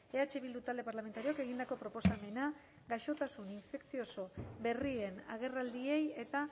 eh bildu talde parlamentarioak egindako proposamena gaixotasun infekzioso berrien agerraldiei eta